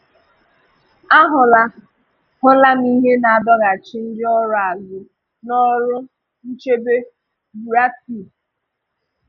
A hụ̀là hụ̀là m ihe na-adọ̀hàchì ndị ọrụ azụ n’ọrụ nchèbe – Buratai.